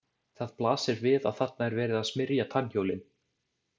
Það blasir við að þarna er verið að smyrja tannhjólin.